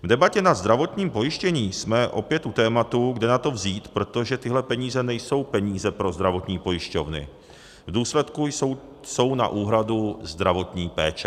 V debatě nad zdravotním pojištěním jsme opět u tématu, kde na to vzít, protože tyhle peníze nejsou peníze pro zdravotní pojišťovny, v důsledku jsou na úhradu zdravotní péče.